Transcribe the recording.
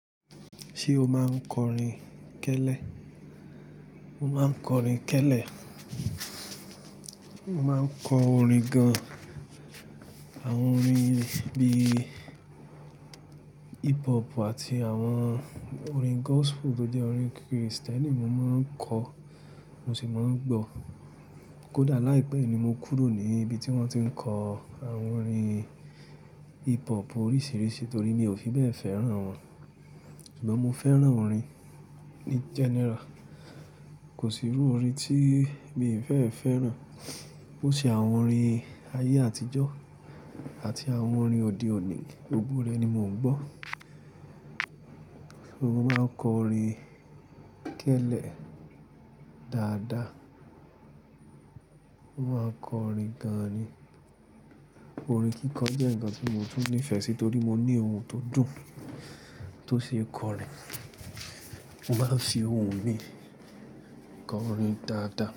Ṣé o máa ń kọrin kẹ́lẹ́? Mo máa ń kọrin kẹ́lẹ́. Mo máa ń kọ orin gan-an. Àwọn orin bíi hip hop àti àwọn orin gospel tó jẹ́ orin Kristẹni mo máa ń kọ, mo sì máa ń gbọ́. Kódà láìpẹ́ ni mo kúrò ní ibi tí wón ti ń kọ àwọn orin hip hop oríṣiríṣi torí mi ò fi bẹ́ẹ̀ fẹ́ràn wọn. Ṣùgbọ́n mo fẹ́ràn orin ní general. Kò sí irú orin tí mi ì fẹ́ fẹ́ràn. Ó ṣe àwọn orin ayé àtijọ́ àti àwọn orin òde òní, gbogbo rẹ̀ ni mò ń gbọ́. Mo máa ń kọrin tẹ́lè dáadáa. Mo máa kọrin gan-an ni. Orin kíkọ jẹ́ nǹkan tí mo tún nífẹ̀ẹ́ sí torí mo ní ohun tó dùn tó ṣe kọrin. Mo máa ń fi ohun mi, kọ orin dáadáa.